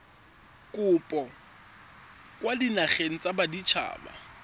kopo kwa dinageng tsa baditshaba